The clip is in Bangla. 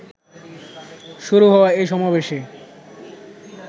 শুরু হওয়া এই সমাবেশে